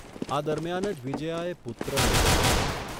આ દરમિયાન જ વિજ્યાએ પુત્રને જન્મ આપ્યો.